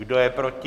Kdo je proti?